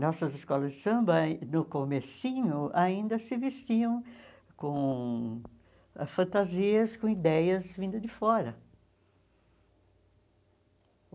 Nossas escolas de samba, no comecinho, ainda se vestiam com fantasias, com ideias vindas de fora.